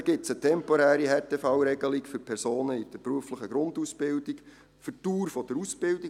Dann gibt es eine temporäre Härtefallregelung für Personen in der beruflichen Grundausbildung für die Dauer der Ausbildung.